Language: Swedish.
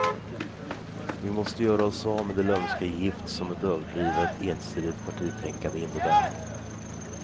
Vi måste göra oss av med det lömska gift som ett överdrivet, ensidigt partitänkande innebär.